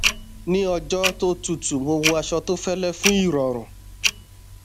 ní ọjọ tó tútù mo wọ aṣọ tó fẹlẹ fún ìrọrùn